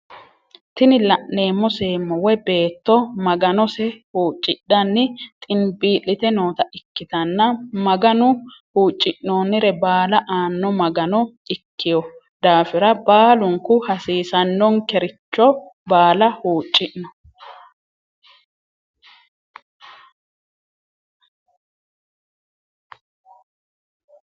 Tini la'neemo seemo woye betto maganose huccidhanni xinbii'lite noota ikkitanna mganu hucci'noonire baala aanno magano ikiyo dafira balukku hasiisanonkericho baala huuccinno.